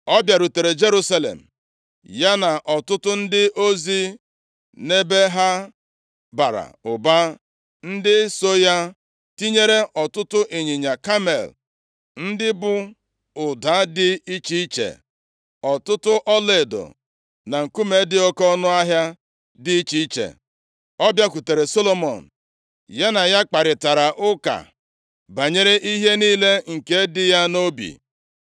Ọ bịarutere Jerusalem, ya na ọtụtụ ndị ozi nʼebe ha bara ụba, ndị so ya, tinyere ọtụtụ ịnyịnya kamel ndị bu ụda dị iche iche, ọtụtụ ọlaedo na nkume dị oke ọnụahịa dị iche iche. Ọ bịakwutere Solomọn, ya na ya kparịtara ụka banyere ihe niile nke dị ya nʼobi.